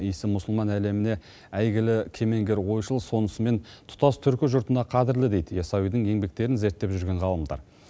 иісі мұсылман әлеміне әйгілі кемеңгер ойшыл сонысымен тұтас түркі жұртына қадірлі дейді ясауидің еңбектерін зерттеп жүрген ғалымдар